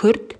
күрт